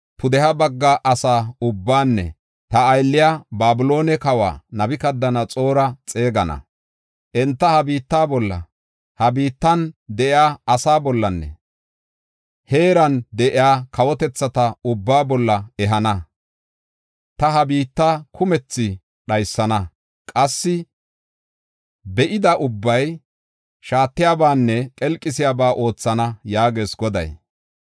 pudeha bagga asa ubbaanne ta aylliya Babiloone kawa Nabukadanaxoora xeegana. Enta ha biitta bolla, ha biittan de7iya asa bollanne heeran de7iya kawotethata ubbaa bolla ehana. Ta ha biitta kumethi dhaysana; qassi be7ida ubbay shaatiyabanne qelqisiyaba oothana” yaagees Goday.